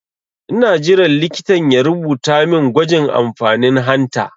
Ina jiran likitan ya rubuta min gwajin amfanin hanta